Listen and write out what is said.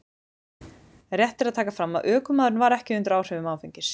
Rétt er að taka fram að ökumaðurinn var ekki undir áhrifum áfengis.